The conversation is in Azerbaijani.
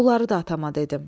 Bunları da atama dedim.